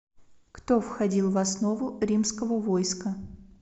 кто входил в основу римского войска